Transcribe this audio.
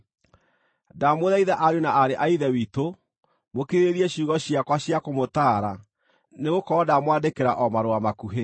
Ndamũthaitha ariũ na aarĩ a Ithe witũ, mũkirĩrĩrie ciugo ciakwa cia kũmũtaara nĩgũkorwo ndamwandĩkĩra o marũa makuhĩ.